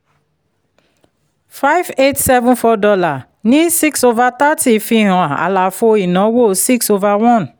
five eight seven four dollar ní six over thirty fi hàn àlàfo ìnáwó six over one